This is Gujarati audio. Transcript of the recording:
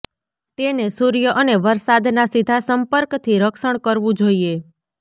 તેને સૂર્ય અને વરસાદના સીધા સંપર્કથી રક્ષણ કરવું જોઈએ